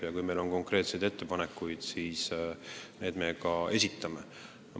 Ja kui meil on konkreetseid ettepanekuid, siis me need ka esitame.